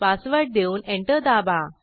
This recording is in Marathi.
पासवर्ड देऊन एंटर दाबा